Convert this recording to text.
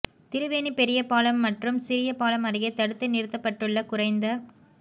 திருவேணி பெரிய பாலம் மற்றும் சிறிய பாலம் அருகே தடுத்து நிறுத்தப்பட்டுள்ள குறைந்த